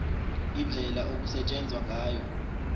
indlela okusetshenzwa ngayo